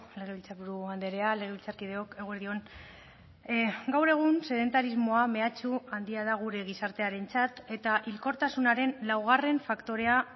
legebiltzarburu andrea legebiltzarkideok eguerdi on gaur egun sedentarismoa mehatxu handia da gure gizartearentzat eta hilkortasunaren laugarren faktorea